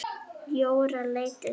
Jóra leit undan.